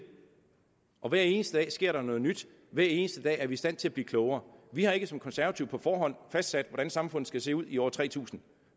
og hver eneste dag sker der noget nyt hver eneste dag er vi i stand til at blive klogere vi har ikke som konservative på forhånd fastsat hvordan samfundet skal se ud i år tre tusind